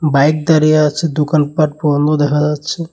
Bike দাঁড়িয়ে আছে দোকানপাট বন্ধ দেখা যাচ্ছে।